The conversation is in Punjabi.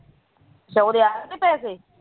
ਅੱਛਾ ਉਹਦੇ ਆਏ ਨੀ ਪੈਸੇ